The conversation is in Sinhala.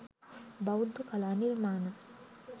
බෞද්ධ කලා නිර්මාණ